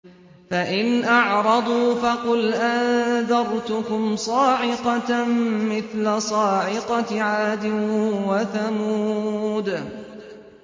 فَإِنْ أَعْرَضُوا فَقُلْ أَنذَرْتُكُمْ صَاعِقَةً مِّثْلَ صَاعِقَةِ عَادٍ وَثَمُودَ